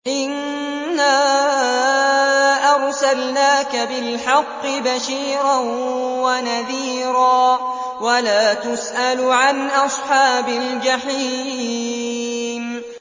إِنَّا أَرْسَلْنَاكَ بِالْحَقِّ بَشِيرًا وَنَذِيرًا ۖ وَلَا تُسْأَلُ عَنْ أَصْحَابِ الْجَحِيمِ